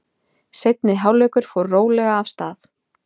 Seinni hálfleikur fór rólega af stað.